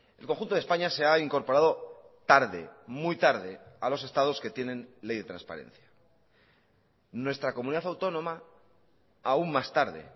el conjunto de españa se ha incorporado tarde muy tarde a los estados que tienen ley de transparencia nuestra comunidad autónoma aún más tarde